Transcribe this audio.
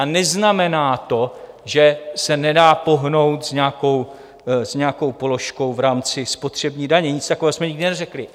A neznamená to, že se nedá pohnout s nějakou položkou v rámci spotřební daně, nic takového jsme nikdy neřekli.